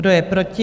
Kdo je proti?